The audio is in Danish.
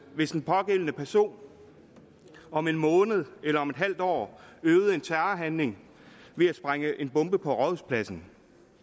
hvis den pågældende person om en måned eller om et halvt år øvede en terrorhandling ved at sprænge en bombe på rådhuspladsen